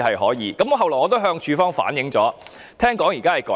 後來，我亦向署方反映，聽說現時已有改善。